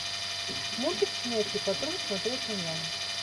мультик щенячий патруль смотреть онлайн